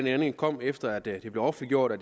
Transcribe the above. ændring kom efter at det blev offentliggjort at